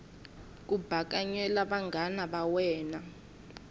ku bakanyela vanghana va wena